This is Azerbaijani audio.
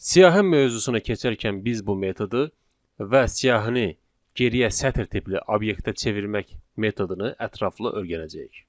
Siyahı mövzusuna keçərkən biz bu metodu və siyahını geriyə sətr tipli obyektə çevirmək metodunu ətraflı öyrənəcəyik.